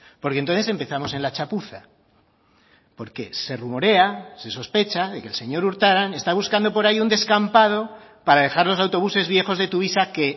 porque entonces empezamos en la chapuza porque se rumorea se sospecha de que el señor urtaran está buscando por ahí un descampado para dejar los autobuses viejos de tuvisa que